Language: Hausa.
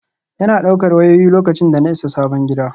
Yana ɗaukar wayoyi, lokacin da na isa sabon gidan.